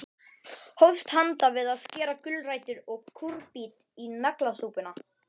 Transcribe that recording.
Hófst handa við að skera gulrætur og kúrbít í naglasúpuna.